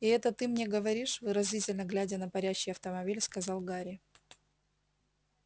и это ты мне говоришь выразительно глядя на парящий автомобиль сказал гарри